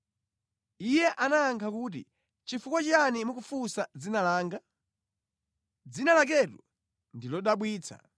Iye anayankha kuti, “Nʼchifukwa chiyani mukufunsa dzina langa? Dzina laketu ndi lodabwitsa.”